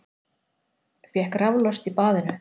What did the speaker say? Fékk raflost í baðinu